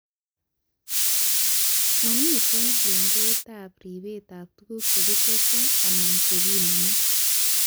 Mamite lengoitab ripetab tuguk chekitesyi anan chekinemu